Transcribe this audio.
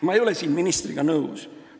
Ma ei ole siin ministriga nõus.